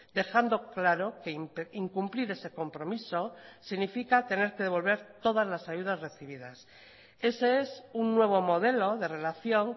dejando claro que incumplir ese compromiso significa tener que devolver todas las ayudas recibidas ese es un nuevo modelo de relación